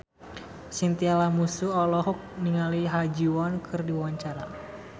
Chintya Lamusu olohok ningali Ha Ji Won keur diwawancara